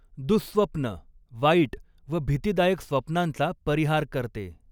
दुःस्वप्न, वाईट व भीतिदायक स्वप्नांचा परिहार करते.